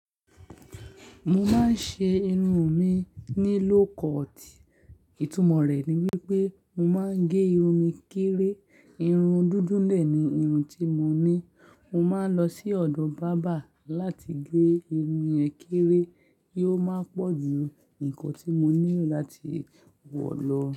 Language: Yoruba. Mo máa ń ṣe irun mi ní lóko ti ìtumọ̀ rẹ̀ ni wípé mo máa ń gẹ irun mi kéré. Irun dúdúlẹ̀ ni irun tí mo ní. Mo máa ń lọ sí ọ̀dọ̀ bábà láti gẹ irun ẹ kéré kí ó máa pọ̀ ju nǹkan tí mo nílò láti wọ̀ lọ.